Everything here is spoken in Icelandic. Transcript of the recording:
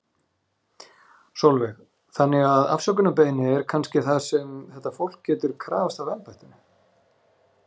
Sólveig: Þannig að afsökunarbeiðni er kannski það sem að þetta fólk getur krafist af embættinu?